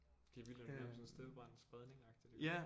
Det er vildt hvordan det er sådan en steppebrand spredning agtigt